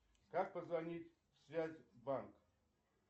как позвонить в связь банк